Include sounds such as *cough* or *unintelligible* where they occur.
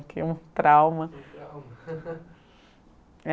Criei um trauma. *unintelligible* *laughs*